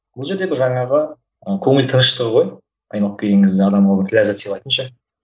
бұл жерде бір жаңағы ы көңіл тыныштығы ғой айналып келген кезде адамға бір ләззат сыйлайтын ше